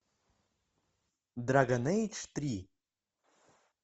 драгон эйдж три